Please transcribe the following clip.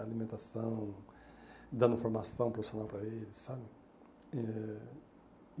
Alimentação, dando formação profissional para eles, sabe? Eh